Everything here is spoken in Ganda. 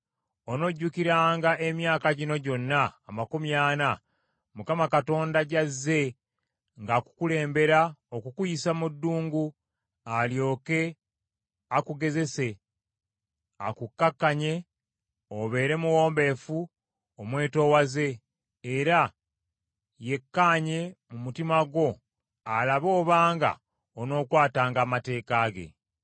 Onojjukiranga emyaka gino gyonna amakumi ana Mukama Katonda gy’azze ng’akukulembera okukuyisa mu ddungu alyoke akugezese, akukakkanye obeere muwombeefu omwetoowaze, era yeekkaanye mu mutima gwo alabe obanga onookwatanga amateeka ge.